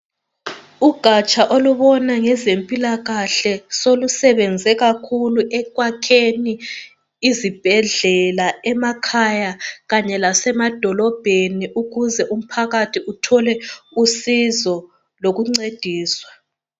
Ugatsha olubona ngeze mpilakahle solusebenze kakhulu ekwakheni izibhedlela emakhaya kanye lasema dolobheni ukuze umphakathi uthole usizo kanye lokuncediswa.